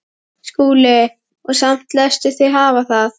SKÚLI: Og samt léstu þig hafa það?